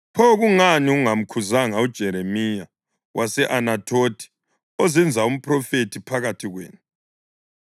Pho kungani ungamkhuzanga uJeremiya wase-Anathothi, ozenza umphrofethi phakathi kwenu?